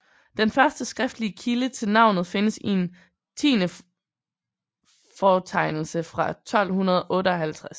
Den første skriftlige kilde til navnet findes i en tiendefortegnelse fra 1258